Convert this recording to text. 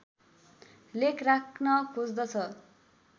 लेख राख्न खोज्दछ